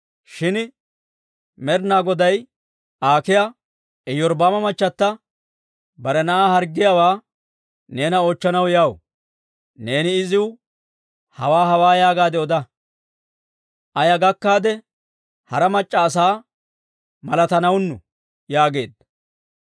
Shin Med'inaa Goday Aakiya, «Iyorbbaama machata bare na'aa harggiyaawaa neena oochchanaw yaw. Neeni iziw hawaa hawaa yaagaade oda. Aa yaa gakkaade hara mac'c'a asaa malatanaanu» yaageedda.